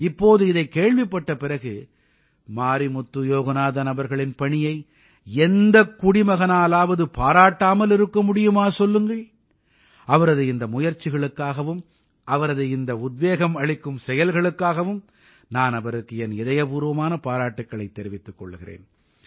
இப்போது இதைக் கேள்விப்பட்ட பிறகு மாரிமுத்து யோகநாதன் அவர்களின் பணியை எந்தக் குடிமகனாலாவது பாராட்டாமல் இருக்க முடியுமா சொல்லுங்கள் அவரது இந்த முயற்சிகளுக்காகவும் அவரது இந்த உத்வேகம் அளிக்கும் செயல்களுக்காகவும் நான் அவருக்கு என் இதயபூர்வமான பாராட்டுக்களைத் தெரிவித்துக் கொள்கிறேன்